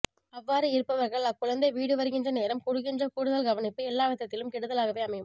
அவ்வாறு இருப்பவர்கள் அக்குழந்தை வீடு வருகின்ற நேரம் கொடுக்கின்ற கூடுதல் கவனிப்பு எல்லாவிதத்திலும் கெடுதலாகவே அமையும்